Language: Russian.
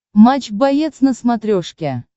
матч боец на смотрешке